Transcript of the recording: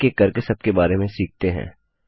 एक एक करके सबके बारे में सीखते हैं